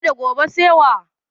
Yau da gobe sai wa?